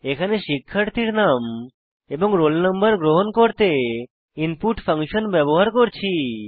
এখানে শিক্ষার্থীর নাম এবং রোল নম্বর গ্রহণ করতে ইনপুট ফাংশন ব্যবহার করছি